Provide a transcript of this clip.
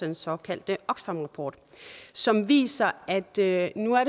den såkaldte oxfam rapport som viser at det nu er